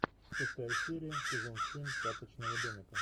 шестая серия сезон семь карточного домика